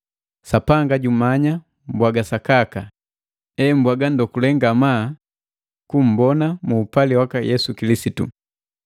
Sapanga jumanya mbwaga sakaka, hembwaga ndokule ngamaa kummbona mu upali waka Yesu Kilisitu.